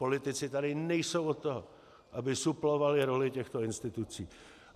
Politici tady nejsou od toho, aby suplovali roli těchto institucí.